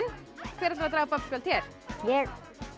hver ætlar að draga babbsjald hér ég